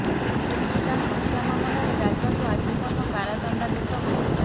ବିରଞ୍ଚି ଦାସ ହତ୍ୟା ମାମଲାରେ ରାଜାକୁ ଆଜୀବନ କାରାଦଣ୍ଡାଦେଶ ହୋଇଥିଲା